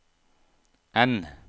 N